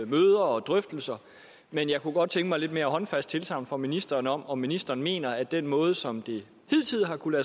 møder og drøftelser men jeg kunne godt tænke mig et lidt mere håndfast tilsagn fra ministeren om om ministeren mener at den måde som det hidtil har kunnet